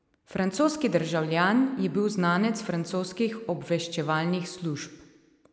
Francoski državljan je bil znanec francoskih obveščevalnih služb.